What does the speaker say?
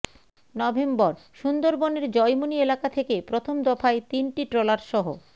November সুন্দরবনের জয়মনি এলাকা থেকে প্রথম দফায় তিনটি ট্রলারসহ